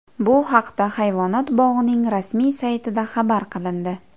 Bu haqda hayvonot bog‘ining rasmiy saytida xabar qilindi .